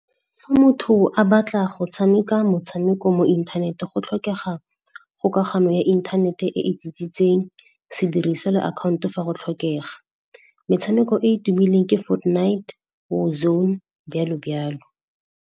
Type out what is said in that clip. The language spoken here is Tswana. Fa motho a batla go tshameka motshameko mo inthanete, go tlhokega kgokagano ya inthanete e tsitsitseng, sediriswa le akhaonto fa go tlhokega. Metshameko e e tumileng ke Fortnight, War Zone, jalo jalo.